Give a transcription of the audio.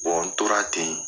n tora ten